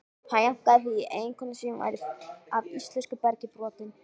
Hann jánkaði því, eiginkona sín væri af íslensku bergi brotin.